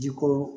Ji ko